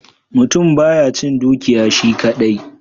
Mutum ba ya cin dukiya shi kadai.